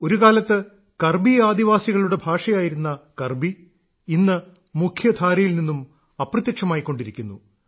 ഒരുകാലത്ത് കർബി ആദിവാസികളുടെ ഭാഷയായിരുന്ന കർബി ഇന്ന് മുഖ്യധാരയിൽ നിന്നു അപ്രത്യക്ഷമായിക്കൊണ്ടിരിക്കുന്നു